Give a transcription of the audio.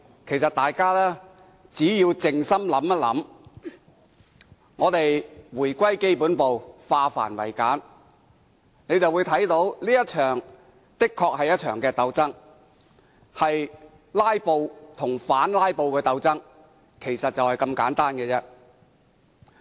其實，大家只要靜心想想，回歸基本步，化繁為簡，便會看到這確實是一場鬥爭，是"拉布"與反"拉布"的鬥爭，就是這麼簡單。